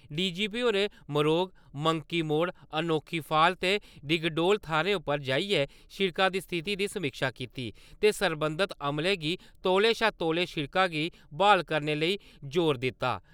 DG होरें Marog, monkey Mor, Anokhi fall ते डिगडोल थाह्‌रा उप्पर जाइयै सिड़कें दी स्थिति दी समीक्षा कीती ते सरबंधत अमलें गी तौले शा तौले सिड़का गी ब्हाल करने लेई जोर दित्ता।